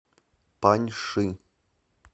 паньши